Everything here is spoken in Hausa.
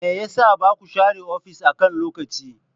Me yasa baku share ofis akan lokaci?